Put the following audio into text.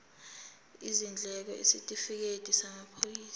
izindleko isitifikedi samaphoyisa